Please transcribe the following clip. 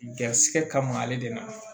Garisigɛ kama ale de na